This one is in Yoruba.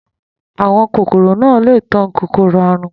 Àwọn kòkòro náà le tan kòkòrò àrùn.